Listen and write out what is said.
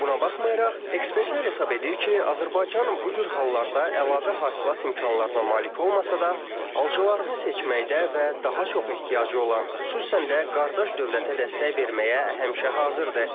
Buna baxmayaraq, ekspertlər hesab edir ki, Azərbaycan bu cür hallarda əlavə hasilat imkanlarına malik olmasa da, alıcılarını seçməkdə və daha çox ehtiyacı olan, xüsusən də qardaş dövlətə dəstək verməyə həmişə hazırdır.